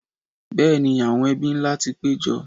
Bẹ́ẹ̀ni, àwọn ebí ńlá ti pé jọ